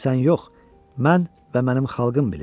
Bunu sən yox, mən və mənim xalqım bilir.